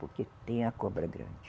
Porque tem a cobra grande.